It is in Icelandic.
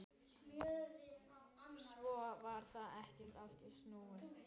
Svo varð ekkert aftur snúið.